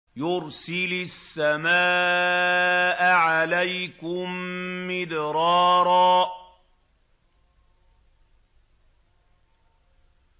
يُرْسِلِ السَّمَاءَ عَلَيْكُم مِّدْرَارًا